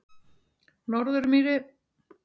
Norðurmýri